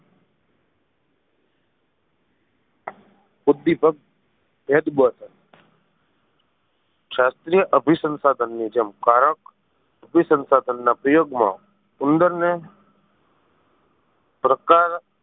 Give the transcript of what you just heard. ઉદીપક શાસ્ત્રીય અભિસંસાધન ની જેમ કારક અભિસંસાધન ના પ્રયોગ માં ઉંદર ને પ્રકાર